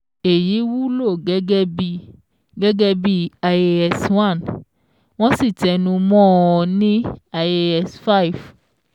Èyí wúlò gẹ́gẹ́ bí gẹ́gẹ́ bí IAS-1, wọ́n sì tẹnu mọ́ ọn ní IAS-5.